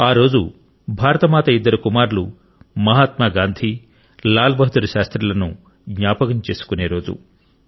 ఆ రోజు భారతమాత ఇద్దరు కుమారులు మహాత్మా గాంధీ లాల్ బహదూర్ శాస్త్రిలను జ్ఞాపకం చేసుకునే రోజు